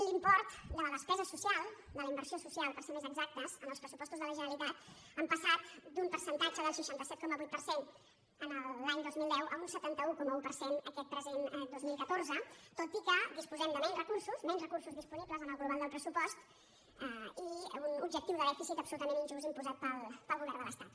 l’import de la despesa social de la inversió social per ser més exactes en els pressupostos de la generali·tat han passat d’un percentatge del seixanta set coma vuit per cent l’any dos mil deu a un setanta un coma un per cent aquest present dos mil catorze tot i que disposem de menys recursos menys recursos disponi·bles en el global del pressupost i un objectiu de dèficit absolutament injust imposat pel govern de l’estat